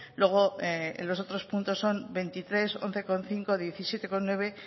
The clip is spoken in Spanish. luego en los otros puntos son veinticinco once coma cinco diecisiete coma nueve